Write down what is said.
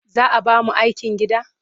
Za a ba mu aikin gida?